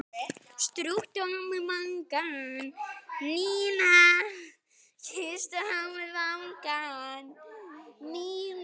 Nína!